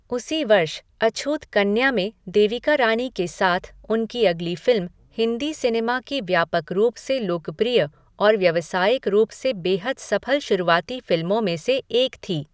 उसी वर्ष अछूत कन्या में देविका रानी के साथ उनकी अगली फ़िल्म हिंदी सिनेमा की व्यापक रूप से लोकप्रिय और व्यावसायिक रूप से बेहद सफल शुरुआती फ़िल्मों में से एक थी।